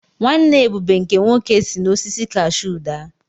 Nwanne Ebube nke nwoke si n’osisi kashuu daa.